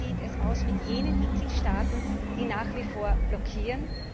Wie sieht es aus mit jenen Mitgliedstaaten, die nach wie vor blockieren?